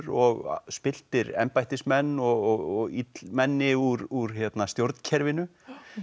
og spilltir embættismenn og illmenni úr stjórnkerfinu